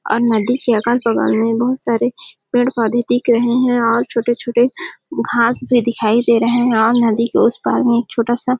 और नदी के अगल -बगल में बहुत सारे पेड़ -पौधे दिख रहे है और छोटे -छोटे घास भी दिखाई दे रहे है और नदी के उस पार में एक छोटा सा--